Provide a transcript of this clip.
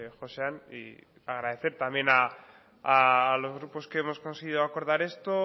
josean y agradecer también a los grupos que hemos considerado acordar esto